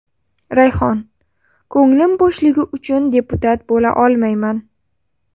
Rayhon: ko‘nglim bo‘shligi uchun deputat bo‘la olmayman .